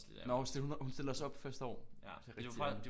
Nåh hun hun stillede også op første år det er rigtigt